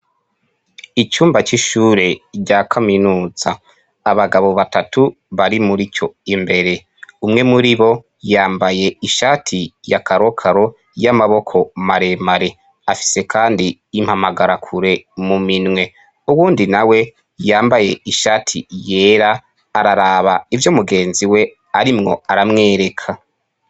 Icumba c'ishure rya kaminuta abagabo batatu bari muri tyo imbere umwe muri bo yambaye ishati ya karokaro y'amaboko maremare afise, kandi impamagarakure mu minwe uwundi na we yambaye ishati yera araa aba ivyo mugenzi we arimwo aramwereka.